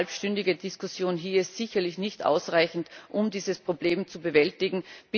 Eine halbstündige Diskussion hier ist sicherlich nicht ausreichend, um dieses Problem zu bewältigen.